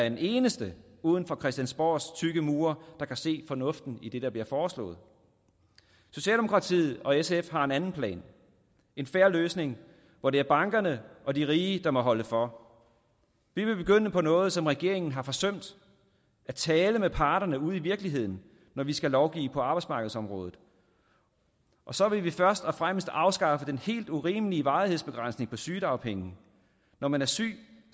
en eneste uden for christiansborgs tykke mure kan se fornuften i det der bliver foreslået socialdemokratiet og sf har en anden plan en fair løsning hvor det er bankerne og de rige der må holde for vi vil begynde på noget som regeringen har forsømt at tale med parterne ude i virkeligheden når vi skal lovgive på arbejdsmarkedsområdet og så vil vi først og fremmest afskaffe den helt urimelige varighedsbegrænsning på sygedagpenge når man er syg